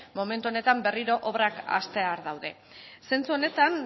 berriro obrak hastear daude zentzu honetan